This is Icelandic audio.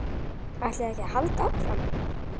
ÆTLIÐI EKKI AÐ HALDA ÁFRAM?